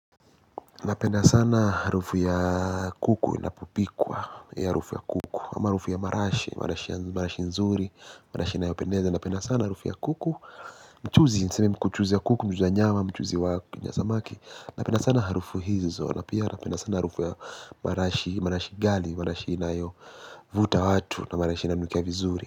Napenda sana harufu ya kuku, ina popikwa, eeh, harufu ya kuku. Ama harufu ya marashi, marashi nzuri, marashi inayopendeza napenda sana harufu ya kuku, mchuzi, niseme mkuchuzi ya kuku, mchuzi ya nyama, mchuzi wa samaki. Napenda sana harufu hizo, na pia napenda sana harufu ya marashi gali, marashi inayo vuta watu na marashi inayonukia vizuri.